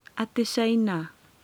Ati Caina?